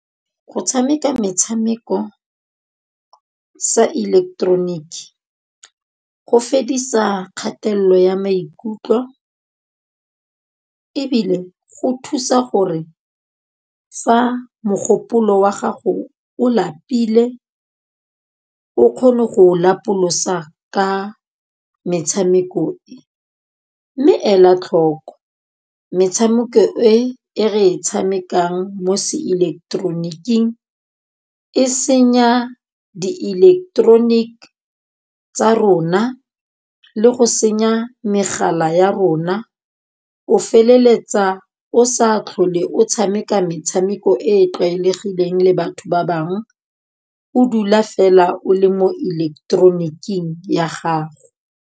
Go tshameka metshameko sa ileketeroniki go fedisa kgatelelo ya maikutlo, ebile go thusa gore fa mogopolo wa gago o lapile o kgone go lapolosa ka metshameko e, mme ela tlhoko metshameko e re e tshamekang mo se ileketeroniking e senya diileketeroniki tsa rona le go senya megala ya rona. O feleletsa o sa tlhole o tshameka metshameko e e tlwaelegileng le batho ba bangwe, o dula fela o le mo ileketeroniking ya gago.